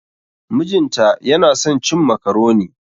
Mijin ta yana son cin macaroni.